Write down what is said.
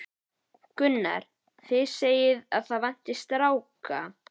Gunnar: Þið segið að það vanti stráka?